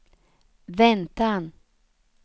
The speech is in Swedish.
väntan